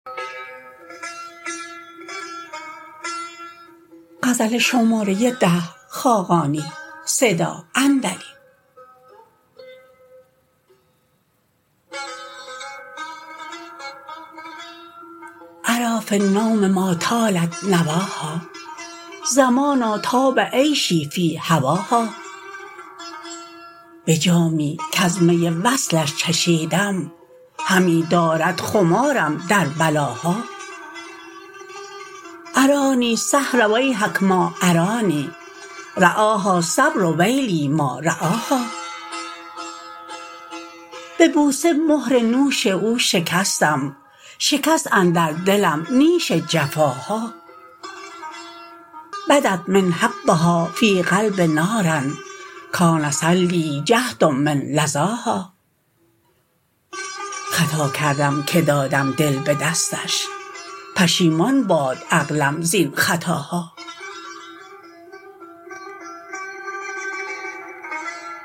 اری فی النوم ما طالت نواها زمانا طاب عیشی فی هواها به جامی کز می وصلش چشیدم همی دارد خمارم در بلاها عرانی السحر ویحک ما عرانی رعاها الصبر ویلی ما رعاها به بوسه مهر نوش او شکستم شکست اندر دلم نیش جفاها بدت من حبها فی القلب نار کان صلی جهتم من لظاها خطا کردم که دادم دل به دستش پشیمان باد عقلم زین خطاها